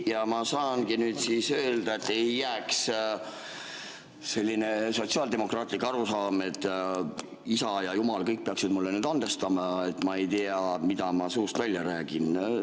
Ja ma saangi nüüd siis öelda, et ei jääks selline sotsiaaldemokraatlik arusaam, et isa ja jumal, kõik peaksid mulle nüüd andestama, et ma ei tea, mida ma suust välja räägin.